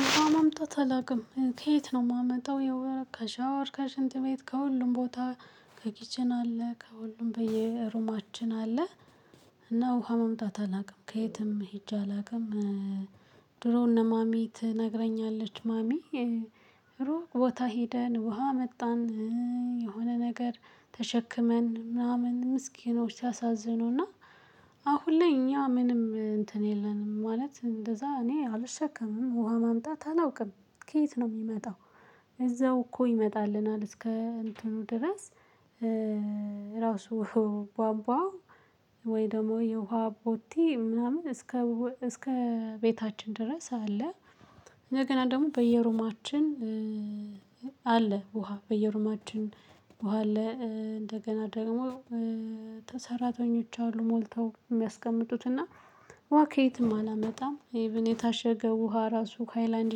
ውሃ ማምጣት አላውቅም ከየት ነው የማመጣው ከሻወር ከሽንት ቤት ከሁሉም ቦታ ከኪችን አለ ከሁሉም በየሩማችን አለ። እና ውሃ ማምጣት አላውቅም ከየትም ሄጄ አላውቅም። ድሮ እነ ማሚ ትነግረኛለች ማሚ ሮቅ ቦታ ሄደን ውሃ አመጣን። የሆነ ነገር ተሸክመን ምናምን ምስኪኖች ሲያሳዝኑና አሁን ላይ እኛ ምንም እንትን የለንም ማለት እንደዛ እኔ አልሸከምም ውሃ ማምጣት አላውቅም። ከየት ነው የሚመጣው? እዛው እኮ ይመጣልናል እስከ እንትኑ ድረስ። ራሱ ቧንቧው ወይ ደግሞ የውሃ ቦቴ ምናምን እስከ እስከ ቤታችን ድረስ አለ። እንደገና ደግሞ በየሩማችን አለ ውሃ በየሩማችን ውሃ አለ። እንደገና ደግሞ ተሰራተኞች አሉ ሞልተው የሚያስቀምጡት እና። ውሃ ከየትም አላመጣም ኢቭን የታሸገ ውሃ ራሱ ሃይላንድ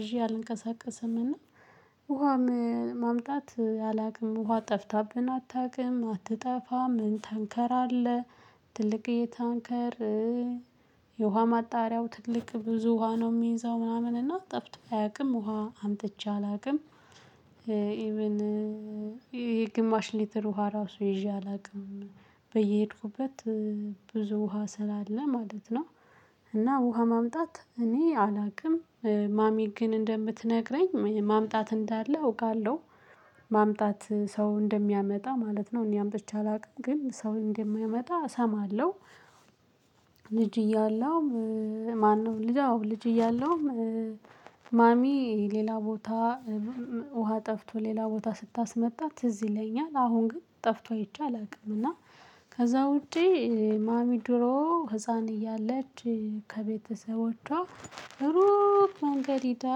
ይዤ አልንቀሳቀሰም። እና ውሃ ማምጣት አላውቅም። ውሃ ጠፍታብን አታውቅም አትጠፋም ምን ታንከር? ትልቅየ ታንከር የውሃ ማጣሪያው ትልቅ ብዙ ውሃ ነው የሚይዘው ምናምን እና ጠፍቶ አያውቅም። ውሃ አምጥቼ አላውቅም። ኢቭን ይሄ ግማሽ ሊትር ውሃ ራሱ ይዤ አላውቅም በየሄድኩበት ብዙ ውሃ ስላለ ማለት ነው። እና ውሃ ማምጣት እኔ አላውቅም። ማሚ ግን እንደምትነግረኝ ማምጣት እንዳለ አውቃለሁ። ማምጣት ሰው እንደሚያመጣ ማለት ነው እኔ አምጥቼ አላውቅም ግን ሰው እንደማይመጣ እሰማለሁ። ልጅ እያለሁ ማነው ልጅ አዎ ልጅ እያለሁም ማሚ ሌላ ቦታ ውሃ ጠፍቶ ሌላ ቦታ ስታስመጣ ትዝ ይለኛል። አሁን ግን ጠፍቶ አይቼ አላውቅም። እና ከዛ ውጪ። ማሚ ድሮ ህፃን እያለች ከቤተሰቦቿ ሩቅ መንገድ ሂዳ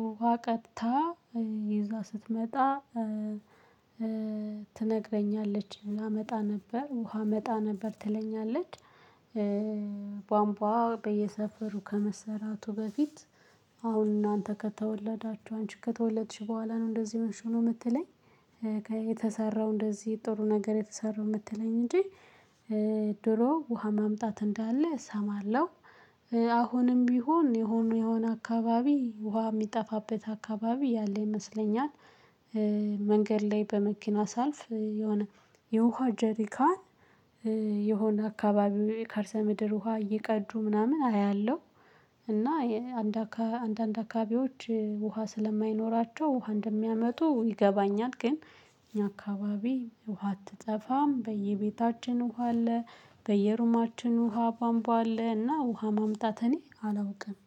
ውሃ ቀድታ ይዛ ስትመጣ። ትነግረኛለች ላመጣ ነበር ውሃ አመጣ ነበር ትለኛለች። ቧንቧ በየሰፈሩ ከመሰራቱ በፊት አሁን እናንተ ከተወለዳችሁ አንቺ ከተወለድሽ በኋላ ነው እንደዚህ የሆንሽው ነው የምትለኝ። የተሰራው እንደዚህ ጥሩ ነገር የተሰራው የምትለኝ እንጂ። ድሮ ውሃ ማምጣት እንዳለ እሰማለሁ። አሁንም ቢሆን የሆነ የሆነ አካባቢ ውሃ የሚጠፋበት አካባቢ ያለ ይመስለኛል። መንገድ ላይ በመኪና ሳልፍ የሆነ የውሃ ጀሪካን። የሆነ አካባቢው የካርሰ ምድር ውሃ እየቀዱ ምናምን አያለሁ። እና አንዳካ አንዳንድ አካባቢዎች ውሃ ስለማይኖራቸው ውሃ እንደሚያመጡ ይገባኛል። ግን እኛ አካባቢ ውሃ አትጠፋም በየቤታችን ውሃ አለ። በየሩማችን ውሃ ቧምቧ አለ። እና ውሃ ማምጣት እኔ አላውቅም።